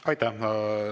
Aitäh!